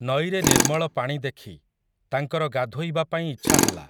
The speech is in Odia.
ନଈରେ ନିର୍ମଳ ପାଣି ଦେଖି, ତାଙ୍କର ଗାଧୋଇବା ପାଇଁ ଇଚ୍ଛା ହେଲା ।